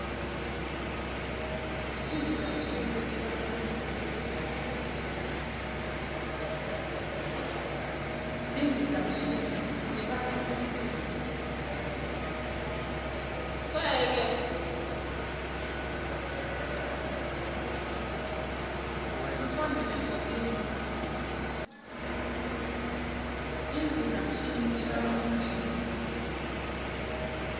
tindizamshini tibanga umsindvo